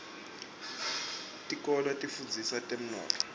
tikolwa tifundzisa temnotfo